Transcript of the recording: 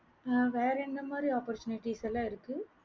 ஆஹ் வேற எந்த மாறி opportunities எல்லா இருக்கு